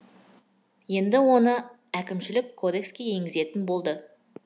енді оны әкімшілік кодекске енгізетін болды